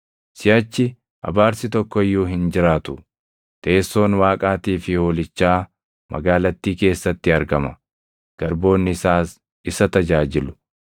Siʼachi abaarsi tokko iyyuu hin jiraatu. Teessoon Waaqaatii fi Hoolichaa magaalattii keessatti argama; garboonni isaas isa tajaajilu.